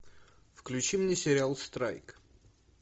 включи мне сериал страйк